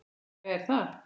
Jæja er það.